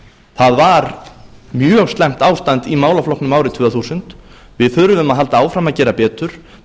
það var mjög slæmt ástand í málaflokknum árið tvö þúsund við þurfum að halda áfram að gera betur